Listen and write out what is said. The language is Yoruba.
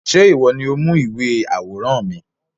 Ṣé ìwọ ni ó mú ìwé àwòrán mi?